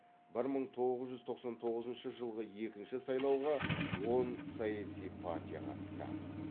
бір мың тоғыз жүз тоқсан тоғызыншы жылғы екінші сайлауға он саяси партия қатысты